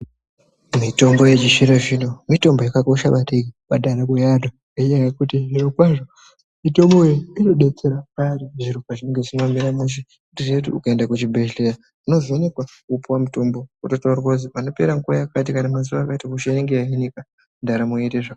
Mitombo yechizvino-zvino mitombo yakakosha maningi pandaramo yeantu ngenyaya yekuti zvirokwazvo mitombo iyi inodetsera payani zviro pazvinenge zvisina kumira mushe. Wotoziya kuti ukaenda kuchibhedhleya unovhekekwa wopuwa mutombo. Wototaurirwa kuzi panopera nguva yakati kana mazuva akati ndaramo inenge yahinika, ndaramo yoite zvaka...